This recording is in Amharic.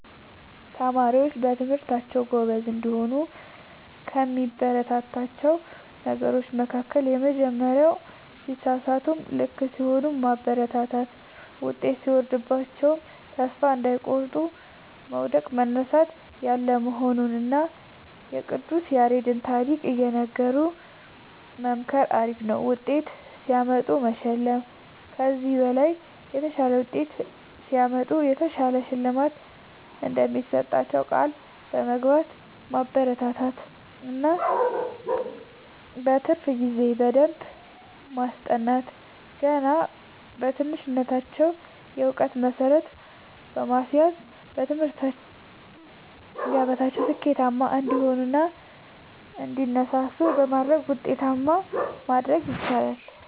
ተማሪዎች በትምህርታቸዉ ጎበዝ እንዲሆኑ ከሚያበረታቷቸዉ ነገሮች መካከል:- የመጀመሪያዉ ሲሳሳቱም ልክ ሲሆኑም ማበረታታት ዉጤት ሲወርድባቸዉም ተስፋ እንዳይቆርጡ መዉደቅ መነሳት ያለ መሆኑንና የቅዱስ ያሬድን ታሪክ እየነገሩ መምከር አሪፍ ዉጤት ሲያመጡ መሸለም ከዚህ በላይ የተሻለ ዉጤት ሲያመጡ የተሻለ ሽልማት እንደሚሰጧቸዉ ቃል በመግባት ማበረታታት እና በትርፍ ጊዜ በደንብ በማስጠናት ገና በትንሽነታቸዉ የእዉቀት መሠረት በማስያዝ በትምህርት ገበታቸዉ ስኬታማ እንዲሆኑ እና እንዲነሳሱ በማድረግ ዉጤታማ ማድረግ ይቻላል።